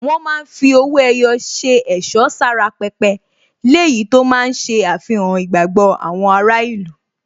Wọ́n máa ń fi owó ẹyọ ṣe ẹ̀ṣọ́ sára pẹpẹ, léyìí tó máa ń ṣe àfihàn ìgbàgbọ́ àwọn ará ìlú.